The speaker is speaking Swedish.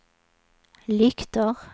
lyktor